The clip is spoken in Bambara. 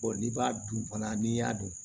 n'i b'a dun fana n'i y'a dun